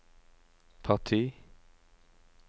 parti